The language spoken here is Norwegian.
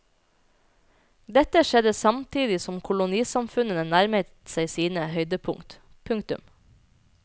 Dette skjedde samtidig som kolonisamfunnene nærmet seg sine høydepunkt. punktum